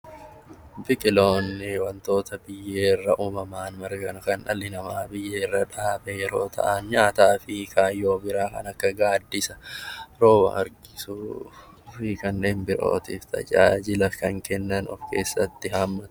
Biqiloonni wantoota biyyeerraa uumaman, kan dhalli namaa biyyeerra dhaabee yeroo ta'an nyaataa fi kaayyoo biraa kan akka gaaddisa, rooba harkisuu fi kanneen birootiif tajaajila kan kennan of keessatti haammata.